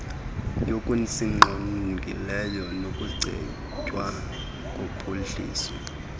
yokusingqongileyo nokucetywa kophuhliso